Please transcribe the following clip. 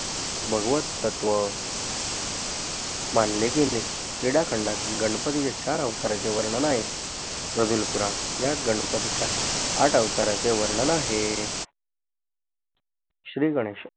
भागवत तत्व मानले गेले क्रीडाखंडात गणपतीच्या चार अवताराचे वर्णन आहेत नजुल पुराण यात गणपतीच्या आठ अवताराचे वर्णन आहे श्रीगणेशा